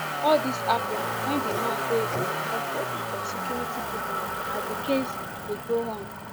all dis happun wen di man dey in custody of security pipo as di case dey go on